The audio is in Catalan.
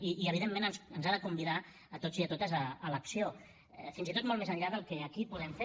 i evidentment ens ha de convidar a tots i a totes a l’acció fins i tot molt més enllà del que aquí podem fer